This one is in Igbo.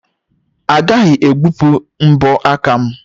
Agaghị egbupụ mbọ aka m.